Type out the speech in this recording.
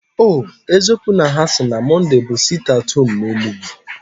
O eziokwu na hasi na Mọnday bu sitie at home na Enugu?